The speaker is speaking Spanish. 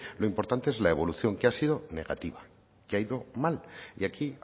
lo importante es la evolución que ha sido negativa que ha ido mal y aquí